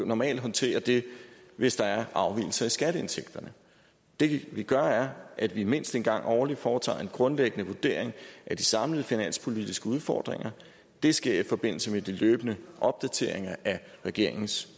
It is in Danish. normalt håndterer det hvis der er afvigelser i skatteindtægterne det vi gør er at vi mindst en gang årligt foretager en grundlæggende vurdering af de samlede finanspolitiske udfordringer det sker i forbindelse med de løbende opdateringer af regeringens